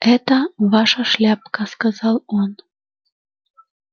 это ваша шляпка сказал он